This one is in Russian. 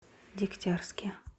дегтярске